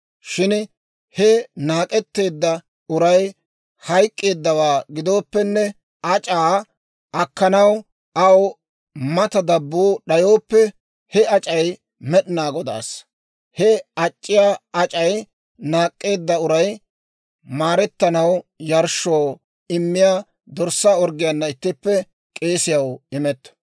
Shin he naak'etteedda uray hayk'k'eeddawaa gidooppenne, ac'c'aa akkanaw aw mata dabbuu d'ayooppe, he ac'c'ay Med'inaa Godaassa. He ac'c'iyaa ac'c'ay naak'k'eedda uray maarettanaw yarshshoo immiyaa dorssaa orggiyaana ittippe k'eesiyaw imetto.